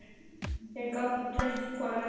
Þeir gátu treyst hvor öðrum.